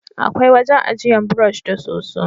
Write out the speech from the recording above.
Akwai wajen ajiyan burosh da soso